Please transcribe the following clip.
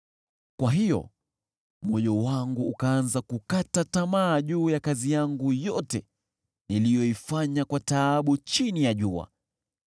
Kwa hiyo moyo wangu ukaanza kukata tamaa juu ya kazi yangu yote niliyoifanya kwa taabu chini ya jua.